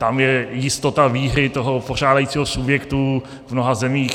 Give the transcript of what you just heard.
Tam je jistota výhry toho pořádajícího subjektu v mnoha zemích.